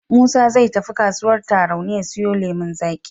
Musa zai tafi kasuwar Tarauni ya siyo lemon zaƙi.